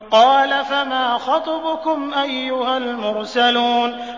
قَالَ فَمَا خَطْبُكُمْ أَيُّهَا الْمُرْسَلُونَ